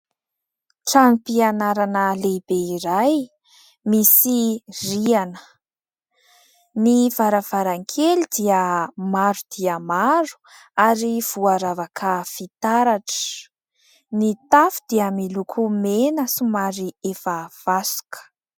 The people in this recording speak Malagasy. Trano fianarana lehibe iray misy riana, ny varavaran-kely dia maro dia maro ary voaravaka fitaratra, ny tafo dia miloko mena somary efa vasoka